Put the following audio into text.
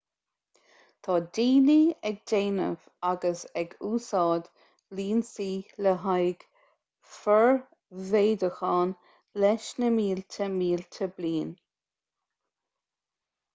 tá daoine ag déanamh agus ag úsáid lionsaí le haghaidh formhéadúcháin leis na mílte mílte bliain